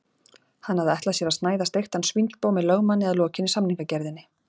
Hann hafði ætlað sér að snæða steiktan svínsbóg með lögmanni að lokinni samningagerðinni.